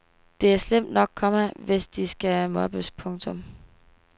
Det er slemt nok, komma hvis de skal mobbes. punktum